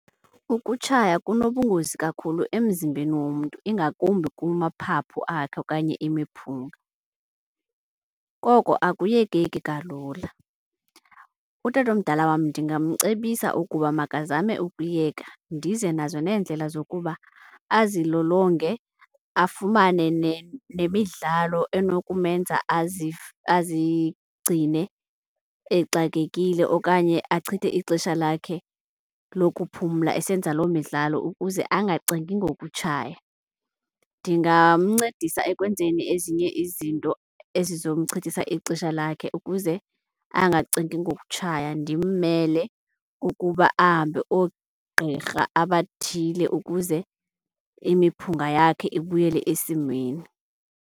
Ukutshaya kunobungozi kakhulu emzimbeni womntu ingakumbi kumaphaphu akhe okanye imiphunga, koko akuyekeki kalula. Utatomdala wam ndingamcebisa ukuba makazame ukuyeka ndize nazo neendlela zokuba azilolonge afumane nemidlalo enokumenza azigcine exakekile okanye achithe ixesha lakhe lokuphumla esenza loo midlalo ukuze angacingi ngokutshaya. Ndingamncedisa ekwenzeni ezinye izinto ezizomchithisa ixesha lakhe ukuze angacingi ngokutshaya. Ndimmele ukuba ahambe oogqirha abathile ukuze imiphunga yakhe ibuyele esimeni.